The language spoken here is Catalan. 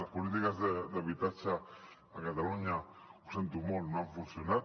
les polítiques d’habitatge a catalunya ho sento molt no han funcionat